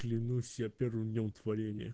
клянусь я первым днём творенья